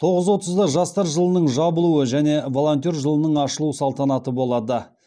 тоғыз отызда жастар жылының жабылуы және волонтер жылының ашылу салтанаты болады